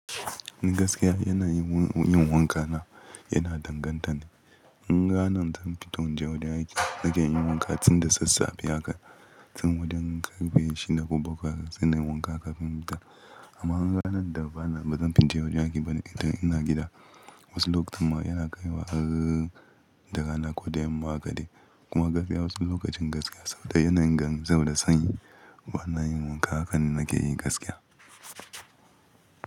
Ni gaskiya yana yin wanka na yana danganta ne. In ganin zan fito in je wajen aiki nake yin wanka tun da sassafe haka tun wajen karfe shida ko bakwai zan yi wanka kafin in fita. Amma in ganin da bana bazan fito in je wajen aiki ba ne ita ina gida wasu lokutan ma yana kaiwa har da rana ko da yamma haka de kuma gaskiya wasu lokacin gaskiya sanda yana yin zafi da sanyi bana yin wanka haka nake yi gaskiya.